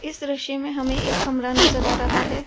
इस दृश्य में हमें एक कमरा नजर आ रहा है।